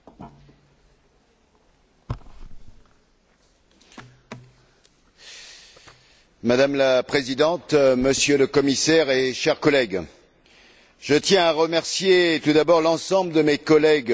Madame la Présidente, Monsieur le Commissaire et chers collègues, je tiens à remercier tout d'abord l'ensemble de mes collègues de la commission de l'agriculture, et tout particulièrement les rapporteurs fictifs, pour leur soutien dans ce travail.